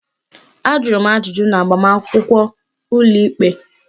Ajụrụ m ajụjụ n'agbamakwụkwọ ụlọikpe